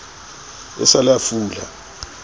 e sa le a fula